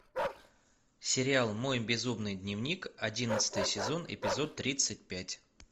сериал мой безумный дневник одиннадцатый сезон эпизод тридцать пять